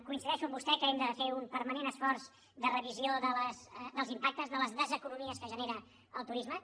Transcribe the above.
coincideixo amb vostè que hem de fer un permanent esforç de revisió dels impactes de les deseconomies que genera el turisme